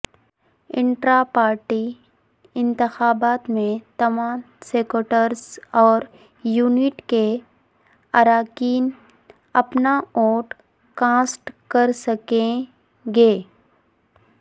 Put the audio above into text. intra party انتخابات میں تمام سیکٹرز اور یونٹ کے اراکین اپنا ووٹ کاسٹ کرسکیں گے